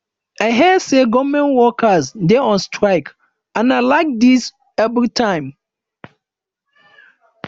i hear say government workers dey on strike and na like dis everytime